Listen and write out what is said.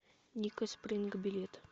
ника спринг билет